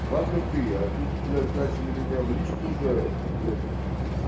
ладно ты а тут блядь начали меня в личку уже это